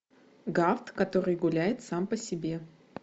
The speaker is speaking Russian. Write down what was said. гафт который гуляет сам по себе